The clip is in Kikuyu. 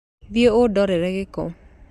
Thiĩ ũndeere gĩko